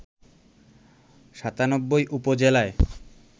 ৯৭ উপজেলায়